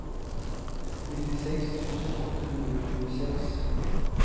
nittiseks tusen åtte hundre og tjueseks